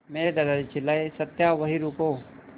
मेरे दादाजी चिल्लाए सत्या वहीं रुको